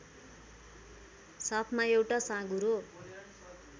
साथमा एउटा साँघुरो